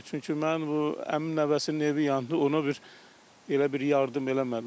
Çünki mənim bu əmi nəvəsinin evi yandı, ona bir elə bir yardım eləmədilər.